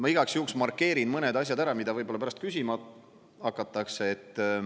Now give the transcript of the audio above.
Ma igaks juhuks markeerin mõned asjad ära, mida võib-olla pärast küsima hakatakse.